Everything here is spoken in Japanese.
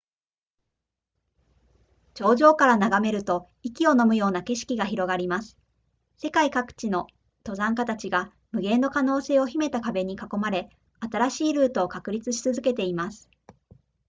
頂上から眺めると息をのむような景色が広がります世界各地の登山家たちが無限の可能性を秘めた壁に囲まれ新しいルートを確立し続けています